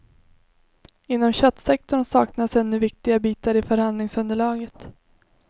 Inom köttsektorn saknas ännu viktiga bitar i förhandlingsunderlaget.